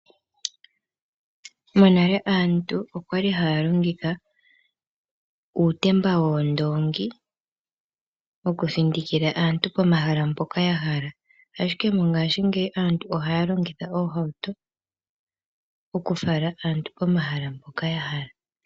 Monale aantu okwali haya longitha uutemba woondongi okuthindikila aantu pomahala mpoka ya hala, ashike mongashi ngeyi aantu ohaya longitha oohauto okufala aantu pomahala mpoka ya hala.